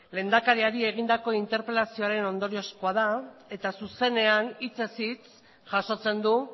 lehendakariari egindako interpelazioaren ondoriozkoa da eta zuzenean hitzez hitz jasotzen du